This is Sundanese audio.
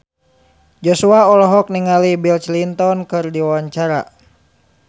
Joshua olohok ningali Bill Clinton keur diwawancara